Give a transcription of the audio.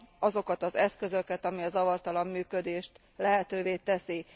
azokat az eszközöket, amik a zavartalan működést lehetővé teszik.